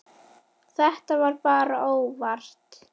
Þetta var bara óvart.